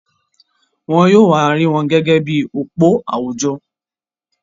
Wọ́n yóò wa rí wọn gẹ́gẹ́ bi òpó àwùjọ.